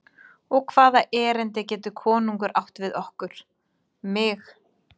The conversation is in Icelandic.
Og hvaða erindi getur konungurinn átt við okkur, mig?